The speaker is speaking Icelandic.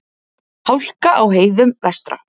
Hálka á heiðum vestra